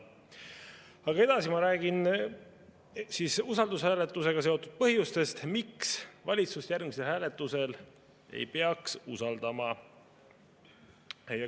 Aga edasi ma räägin usaldushääletusega seotult nendest põhjustest, miks valitsust järgmisel hääletusel ei peaks usaldama.